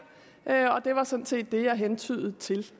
det var sådan set det jeg hentydede til